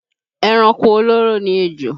Ẹranko olóró ni ejò